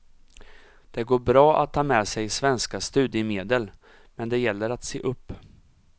Det går bra att ta med sig svenska studiemedel, men det gäller att se upp.